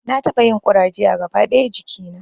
Na taɓa yin ƙuraje a gaba ɗaya jikina